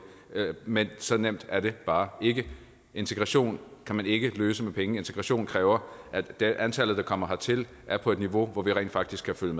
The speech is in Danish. men så nemt er det bare ikke integration kan man ikke løse med penge integration kræver at antallet der kommer hertil er på et niveau hvor vi rent faktisk kan følge